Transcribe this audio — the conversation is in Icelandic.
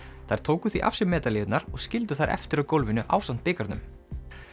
þær tóku því af sér og skildu þær eftir á gólfinu ásamt bikarnum